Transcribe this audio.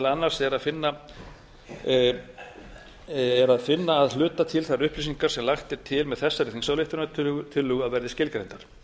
annars er að finna að hluta til þær upplýsingar sem lagt er til með þessari þingsályktunartillögu að verði skilgreindar